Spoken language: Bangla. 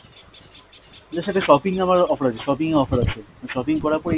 না সেটা shopping এ আমার offer আছে, shopping এ offer আছে, shopping করার পরে